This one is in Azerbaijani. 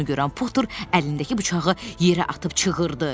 Bunu görən Potur əlindəki bıçağı yerə atıb çığırdı: